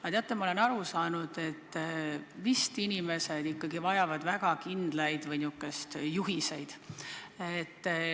Aga teate, ma olen aru saanud, et inimesed ikkagi vajavad väga kindlaid juhiseid.